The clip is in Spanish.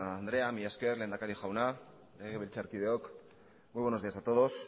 andrea mila esker lehendakari jauna legebiltzarkideok muy buenos días a todos